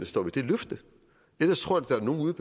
står ved det løfte jeg tror at der er nogle ude